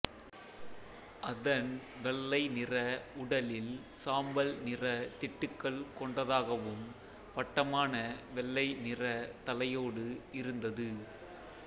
அதன் வெள்ளை நிற உடலில் சாம்பல் நிற திட்டுகள் கொண்டதாகவும் வட்டமான வெள்ளை நிறத் தலையோடு இருந்தது